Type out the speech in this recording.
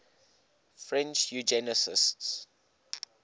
french eugenicists